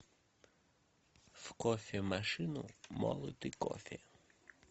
в кофемашину молотый кофе